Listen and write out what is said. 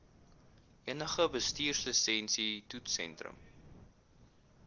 enige bestuurslisensie toetssentrum